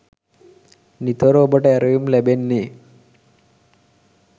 නිතොර ඔබට ඇරයුම් ලැබෙන්නේ